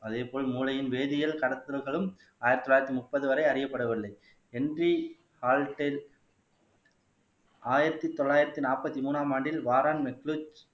அதே போல் மூளையின் வேதியல் கடத்தல்களும் ஆயிரத்தி தொள்ளாயிரத்தி முப்பது வரை அறியப்படவில்லை ஆயிரத்தி தொள்ளாயிரத்தி நாற்பத்தி மூணாம் ஆண்டில்